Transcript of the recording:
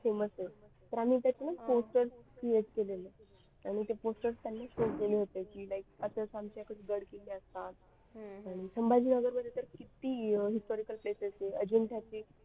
Famous आहे तर आम्ही त्याचे नाव poster create केलेले आणि त्यांना ते posters show केले होते की like असे आमच्याकडे गड किल्ले असतात आणि संभाजीनगर मध्ये तर किती historical places आहे. अजिंठ्याची